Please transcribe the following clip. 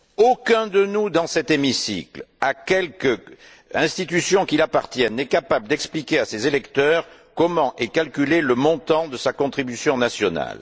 Aucun de nous, dans cet hémicycle, à quelque institution qu'il appartienne, n'est capable d'expliquer à ses électeurs comment est calculé le montant de sa contribution nationale.